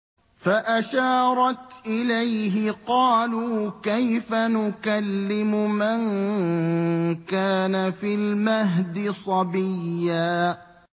فَأَشَارَتْ إِلَيْهِ ۖ قَالُوا كَيْفَ نُكَلِّمُ مَن كَانَ فِي الْمَهْدِ صَبِيًّا